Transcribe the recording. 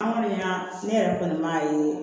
An kɔni y'a ne yɛrɛ kɔni m'a ye